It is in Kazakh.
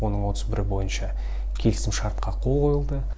оның отыз бірі бойынша келісімшартқа қол қойылды